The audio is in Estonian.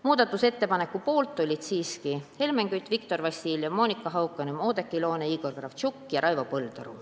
" Muudatusettepaneku poolt olid siiski Helmen Kütt, Viktor Vassiljev, Monika Haukanõmm, Oudekki Loone, Igor Kravtšenko ja Raivo Põldaru.